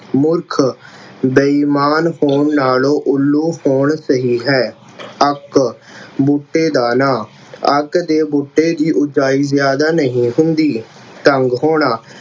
ਮੂਰਖ, ਬੇਈਮਾਨ ਹੋਣ ਨਾਲੋਂ ਉੱਲੂ ਹੋਣਾ ਸਹੀ ਹੈ। ਅੱਕ, ਬੂਟੇ ਦਾ ਨਾਂ। ਅੱਕ ਦੇ ਬੂਟੇ ਦੀ ਉਗਾਈ ਜ਼ਿਆਦਾ ਨਹੀਂ ਹੁੰਦੀ। ਤੰਗ ਹੋਣਾ